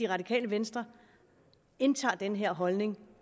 radikale venstre indtager den her holdning